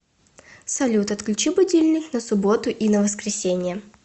салют отключи будильник на субботу и на воскресенье